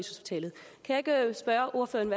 ordføreren